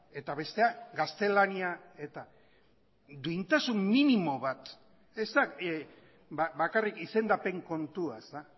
eta bestea gaztelania eta duintasun minimo bat ez da bakarrik izendapen kontua